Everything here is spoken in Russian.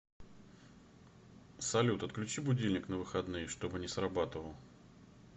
салют отключи будильник на выходные чтобы не срабатывал